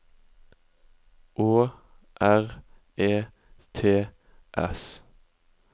Å R E T S